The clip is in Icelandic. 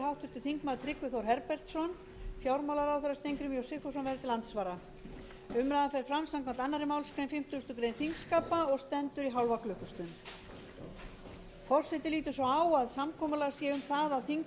háttvirtur þingmaður tryggvi þór herbertsson fjármálaráðherra steingrímur j sigfússon verður til andsvara umræðan fer fram samkvæmt annarri málsgrein þingskapa og stendur í hálfa klukkustund